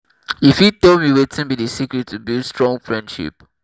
you fit tell me wetin be di secret to build strong friendship?